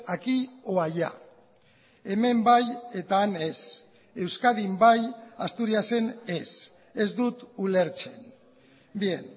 aquí o allá hemen bai eta han ez euskadin bai asturiasen ez ez dut ulertzen bien